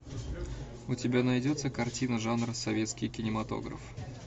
у тебя найдется картина жанра советский кинематограф